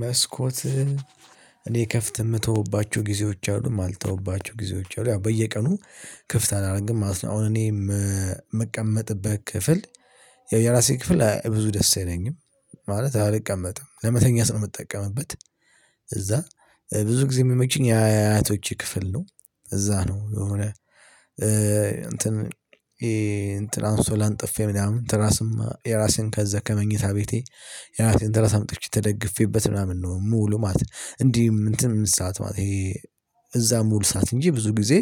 መስኮት እኔ ከፍት የምተውባቸው ጊዜዎች አሉ ማልተውባቸው ጊዜዎች አሉ። ያው በየቀኑ ክፍት አላደረገም ማለት ነው። አሁን እኔ የምቀመጥበት ክፍል የራሴ ክፍል ብዙ ደስ አይለኝም ማለት አልቀመጥም ለመተኛት ነው የምጠቀምበት። እዛ ብዙ ጊዜ የሚመችኝ የአያቶች ክፍል ነው። እዛ ነው የሆነ እንትን ይሄ እንትን አንስቶላ አንጥፌ ምናምን የራስህን ከመኝታ ቤቴ የራሴን ትራስ አምጥቼ ተደግፌበት ምናምን ነው ምውለው ማለት ነው። እንዲህ እንትን ምን ምሳት ማለት እዛ ሙሉ ሰዓት እንጂ ብዙ ጊዜ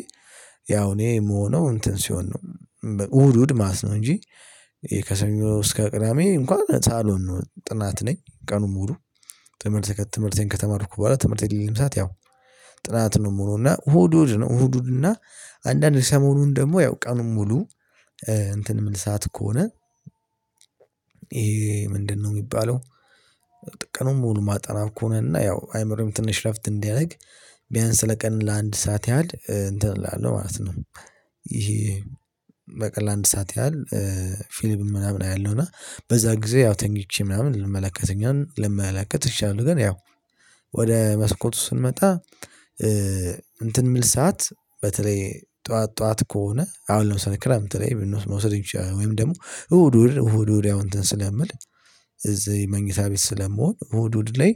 ያው እኔ የምሆነው እንትን ሲሆን ነው። እሁድ እሁድ ማለት ነው እንጂ እስከ ቅዳሜ እንኳን ሳሎን ነው ጥናት ነኝ ቀኑን ሙሉ። ትምህርቴን ከተማርኩ በኋላ ትምህርት የሌም ሰዓት ያው ጥናት ነው። የምሆነው እና እሁድ ነው እሁድ እና አንዳንድ ሰሞኑን ደግሞ ያው ቀኑን ሙሉ እንትን ምል ሳዓት ከሆነ ምንድነው የሚባለው? ቀኑን ሙሉ ማጠና ከሆነ እና ያው አይምሮም ትንሽ እረፍት እንዲያደርግ ቢያንስ ለቀን ለአንድ ሰዓት ያህል እንትን እላለሁ ማለት ነው። ይሄ በቀን አንድ ሰዓት ያህል ፊሊፕም ምናምን አያለሁ እና በዛ ጊዜ ያው ተኚቼ ምናምን ልመለከተ ልመለከት እችላለሁ። ግን ያው ወደ መስኮቱ ስንመጣ እንትን የምል ሰዓት በተለይ ጠዋት ጠዋት ከሆነ አሁን ለምሳሌ ክረምት ላይ መውሰድ ይቻላል። ወይም ደግሞ እሁድ እሁድ እሁድ ያው እንትን ስለምል እዚህ መኝታ ቤት ስለመሆን እሁድ እሁድ ላይ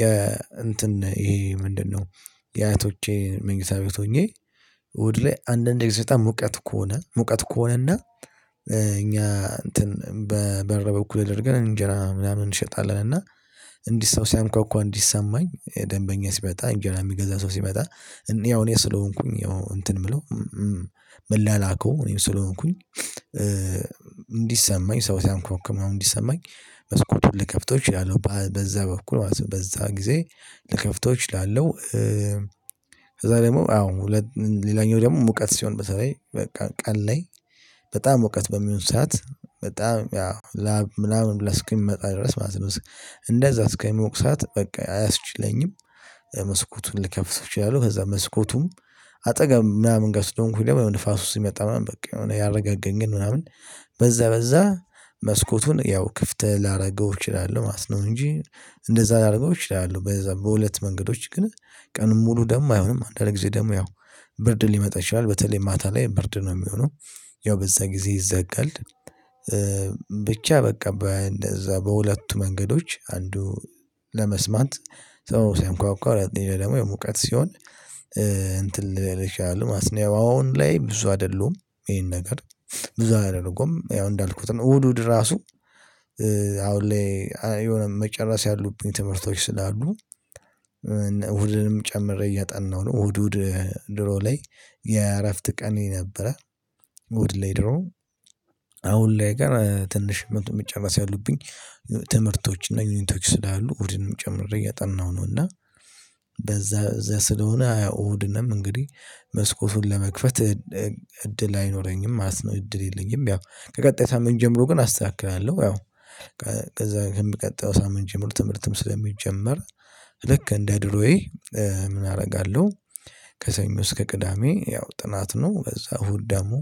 የ እንትን ይሄ ምንድነው? የአያቶቼ መኝታ ቤት ሆኜ እሁድ ላይ አንዳንድ ጊዜ በጣም ሙቀት ከሆነ ሙቀት ከሆነና። እኛ እንትን በበረ በኩል አድርገን እንጀራ ምናምን እንሸጣለን እና እንዲህ ሰው ሲያንኳኳ እንዲሰማኝ ደንበኛ ሲመጣ አንጀራ ሚገዛ ሰው ሲመጣ። ያው እኔ ስለሆንኩኝ ያው እንትን ምለው እምለላከው እኔው ስለሆንኩኝ። እንዲሰማኝ ሰው ሲያንኳንኳ ምናምን እንዲሰማኝ መስኮቱን ልከፍተው እችላለሁ በዛ በኩል ማለት ነው። በዛ ጊዜ ልከፍተው እችላለሁ። ከዛ ደግሞ አዎ ሌላኛው ደግሞ ሙቀት ሲሆን በተለይ በቃ ቀን ላይ ሙቀት በሚሆን ሰዓት በጣም ላብ ምናምን ብለህ እስከሚመጣ ድረስ ማለት ነው። እንደዛ እስከሚሞቅ ሰዓት በቃ አያስችለኝም። መስኮቱን ልከፍተው እችላለሁ ከዛ መስኮቱም አጠገብ ምናምን ጋር ስለሆንኩኝ ደሞ ንፋስ ሲመጣ ምናምን በቃ የሆነ ያረጋጋኛል። ግን ምናምን በዛ በዛ መስኮቱን ያው ክፍት ላደርገው እችላለሁ ማለት ነው። እንጂ እንደዛ ላድርገው እችላለሁ በዛ በሁለት መንገዶች ግን። ሙሉ ደግሞ አይሆንም አንዳንድ ጊዜ ደግሞ ያው ብርድ ሊመጣ ይችላል በተለይ ማታ ላይ ብርድ ነው ሚሆነው። ያው በዛ ጊዜ ይዘጋል። ብቻ በቃ በእንደዛ በሁለቱ መንገዶች አንዱ ለመስማት ሰው ሲያንኳኳ ሁለተኛው ደግሞ የሙቀት ሲሆን። እንትን ልል ይችላል ማስኒያ አሁን ላይ ብዙ አይደሉም ይሄን ነገር ብዙ አላደርገውም ያው እንዳልኩት ነው። እሁድ እሁድ ራሱ አሁን ላይ የሆነ መጨረስ ያሉብኝ ትምህርቶች ስላሉ። እሁድንም ጨምሬ እየጠናሁ ነው እሁድ እሁድ ድሮ ላይ የእረፍት ቀን ነበረ። እሁድ ላይ ድሮ አሁን ላይ ግን ትንሽ መጥቶ መጨርስ ያሉብኝ። ትምህርቶች እና ዪኒቶች ስላሉ እሁድንም ጨምሬ እያጠናሁ ነው። እና በዛ እዛ ስለሆነ ያው እንግዲህ መስኮቱን ለመክፈት እድል አይኖረኝም ማለት ነው። እድል የለኝም ያው ከቀጣይ ሳምንት ጀምሮ ግን አስተካክላለሁ ያው። ከዛ ከሚቀጥለው ሳምንት ጀምሮ ትምህርትም ስለሚጀመር ልክ እንደ ድሮዬ ምን አደርጋለሁ? ከሰኞ እስከ ቅዳሜ ያው ጥናት ነው በዛ እሁድ ደግሞ።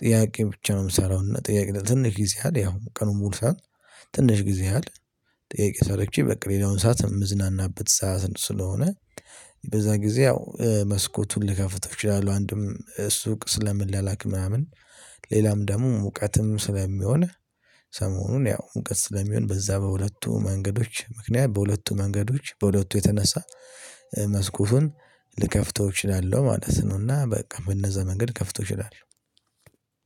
ጥያቄ ብቻ ነው ምሰራው እና ጥያቄ ትንሽ ጊዜ አለ ያው ቀኑን ሙሉ ሰዓት ትንሽ ጊዜ አለ ጥያቄ ሰርቼ በቃ ሌላውን ሰዓት ምዝናናበት ሰዓት ስለሆነ። በዛ ጊዜ ያው መስኮቱን ልከፍተፍው እችላለሁ አንድም ሱቅ ስለምላላክ ምናምን። ሌላም ደግሞ ሙቀትም ስለሚሆን ሰሞኑን ያው ሙቀት ስለሚሆን በዛ በሁለቱ መንገዶች ምክንያት በሁለቱ መንገዶች በሁለቱ የተነሳ። መስኮቱን ልከፍተው እችላለሁ ማለት ነው። እና በቃ በነዛ መንገድ ልከፍተው እችላለሁ።